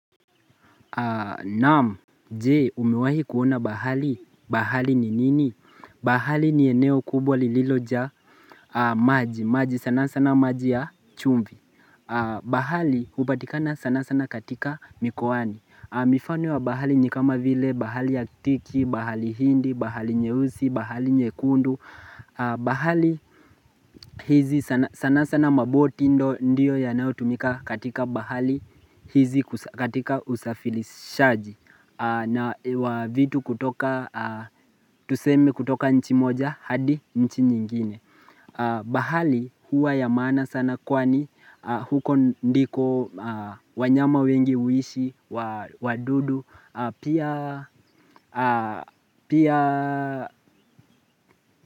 Naam je umiwahi kuona bahari, bahari ni nini? Bahari ni eneo kubwa lililojaa maji, maji sana sana maji ya chumvi bahari hupatikana sana sana katika mikowani mifano ya bahari ni kama vile, bahari ya tiki, bahari hindi, bahari nyeusi, bahari nyekundu bahari hizi sana sa sana sana maboti ndo ndio yanyaotumika katika bahali hizi katika usafilishaji na wavitu kutoka, tusemi kutoka nchi moja, hadi nchi nyingine bahari huwa ya maana sana kwani huko ndiko wanyama wengi huishi, wadudu Pia, pia.